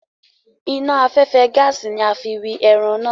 Iná afẹ́fẹ́ gaàsì ni a fi wi ẹran náà.